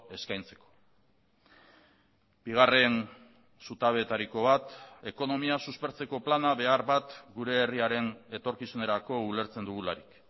eskaintzeko bigarren zutabetariko bat ekonomia suspertzeko plana behar bat gure herriaren etorkizunerako ulertzen dugularik